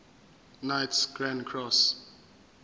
knights grand cross